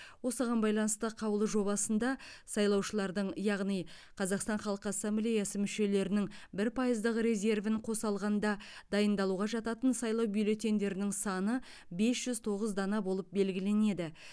осыған байланысты қаулы жобасында сайлаушылардың яғни қазақстан халық ассамблеясы мүшелерінің бір пайыздық резервін қоса алғанда дайындалуға жататын сайлау бюллетендерінің саны бес жүз тоғыз дана болып белгіленеді